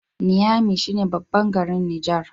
Niamey shi ne babban garin Niger